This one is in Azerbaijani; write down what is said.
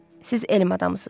Siz elm adamısınız.